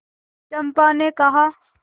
चंपा ने कहा